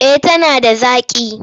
Eh tana da zaƙi.